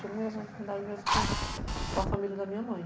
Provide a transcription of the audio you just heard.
Tinha afinidade mesmo com com a família da minha mãe.